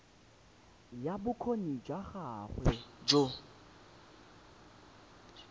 ya bokgoni jwa gago jo